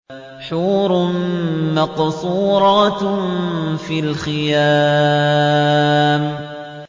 حُورٌ مَّقْصُورَاتٌ فِي الْخِيَامِ